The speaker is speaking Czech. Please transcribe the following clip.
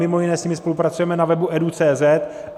Mimo jiné s nimi spolupracujeme na webu Edu.cz.